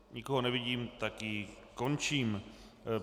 Nikoho nevidím, tak ji končím.